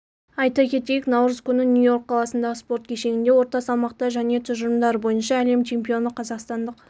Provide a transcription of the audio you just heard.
айта кетейік наурыз күні нью-йорк қаласындағы спорт кешенінде орта салмақта және тұжырымдары бойынша әлем чемпионы қазақстандық